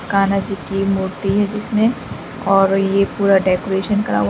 कान्हा जी की मूर्ति है जिसमें और यह पूरा डेकोरेशन करा हुआ--